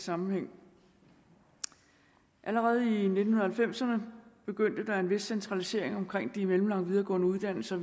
sammenhæng allerede i nitten halvfemserne begyndte en vis centralisering omkring de mellemlange videregående uddannelser